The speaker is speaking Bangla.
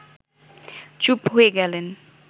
চুপ হয়ে গেলেন